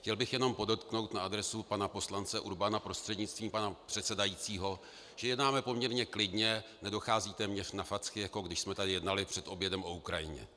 Chtěl bych jenom podotknout na adresu pana poslance Urbana prostřednictvím pana předsedajícího, že jednáme poměrně klidně, nedochází téměř na facky, jako když jsme tady jednali před obědem o Ukrajině.